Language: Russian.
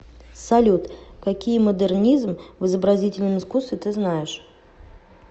салют какие модернизм в изобразительном искусстве ты знаешь